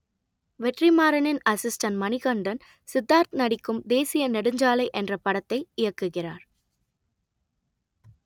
வெற்றிமாறனின் assistant Manikandan Siddharth நடிக்கும் தேசிய நெடுஞ்சாலை என்ற படத்தை இயக்குகிறார்